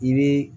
I bi